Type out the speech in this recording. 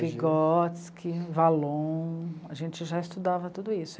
Vigotski, Wallon, a gente já estudava tudo isso.